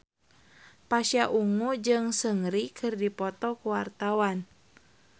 Pasha Ungu jeung Seungri keur dipoto ku wartawan